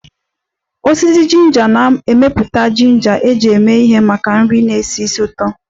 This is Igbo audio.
Osisi ginger na-emepụta ginger eji eme ihe maka nri na-esi ísì ụtọ